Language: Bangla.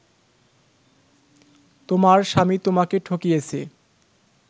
তোমার স্বামী তোমাকে ঠকিয়েছে